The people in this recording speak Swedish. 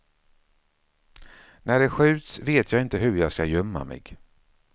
När det skjuts vet jag hur jag ska gömma mig.